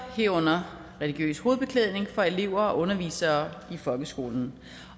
herunder religiøs hovedbeklædning for elever og undervisere i folkeskolen